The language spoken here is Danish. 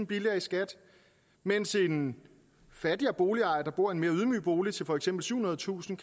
billigere i skat mens en fattigere boligejer der bor i en mere ydmyg bolig til for eksempel syvhundredetusind